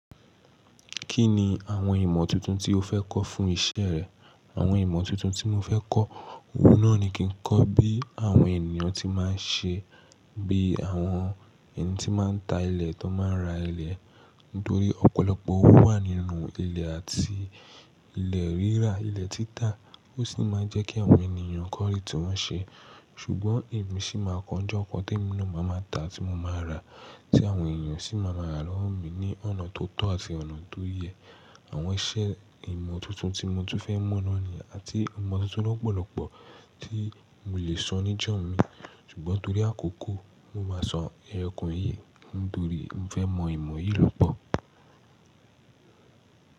Kí ni àwọn ìmọ̀ tuntun tí o fẹ́ kọ́ fún iṣẹ́ rẹ? Àwọn ìmọ̀ tuntun tí mo fẹ́ kọ́, oun náà ni kí n kọ́ bí àwọn ènìyàn tí máa ń ṣe, bí àwọn ẹni tí máa ń ta ilẹ̀ tó máa ń ra ilẹ̀. Nítorí ọ̀pọ̀lọpọ̀ owó wà nínú ilẹ̀ àti ilẹ̀ rírà, ilẹ̀ títà. Ó sì máa ń jẹ́ kí àwọn ènìyàn kan ri tí wọ́n ṣe. Ṣùgbọ́n èmi ṣì máa kọ́ n jọ kan tí e mi náà máa ma ta tí mo máa rà, tí àwọn ènìyàn sì máa ma ra lọ wọ mi ní ọ̀nà tó tọ́ àti ọ̀nà tó yẹ. Àwọn iṣẹ́ ìmọ̀ tuntun tí mo tún fẹ́ mọ̀ náà ni àti ìmọ̀ tuntun lọ́pọ̀lọpọ̀ tí mo lè sọ níjọ́ mi. Ṣùgbọ́n torí àkókò, mo máa sọ ẹyo kan yíi nítorí mo fẹ́ mọ ìmọ̀ yìí lọ́pọ̀.